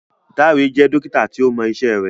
Dare jẹ́ Dókítà tíó Mo iṣé rẹ.